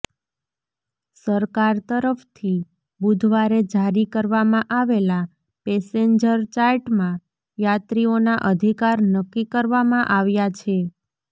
સરકાર તરફથી બુધવારે જારી કરવામાં આવેલા પેસેન્જર ચાર્ટમાં યાત્રીઓના અધિકાર નક્કી કરવામાં આવ્યા છે